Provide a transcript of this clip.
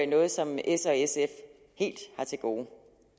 noget som s og sf helt har til gode